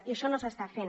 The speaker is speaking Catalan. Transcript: i això no s’està fent